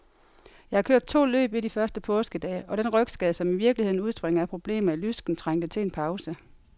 Jeg har kørt to løb i de første påskedage, og den rygskade, som i virkeligheden udspringer af problemer i lysken, trængte til en pause.